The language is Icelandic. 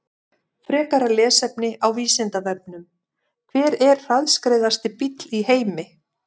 Frekara lesefni á Vísindavefnum: Hver er hraðskreiðasti bíll í heimi?